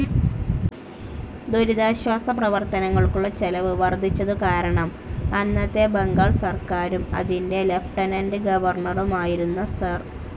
ദുരിതാശ്വാസ പ്രവർത്തനങ്ങൾക്കുള്ള ചെലവ് വർദ്ധിച്ചതുകാരണം അന്നത്തെ ബംഗാൾ സർക്കാരും, അതിന്റെ ലിയൂട്ടെനന്റ്‌ ഗവർണറുമായിരുന്ന സർ.